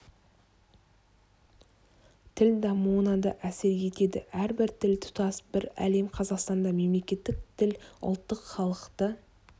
тіл дамуына да әсер етеді әрбір тіл тұтас бір әлем қазақстанда мемлекеттік тіл ұлттық халықты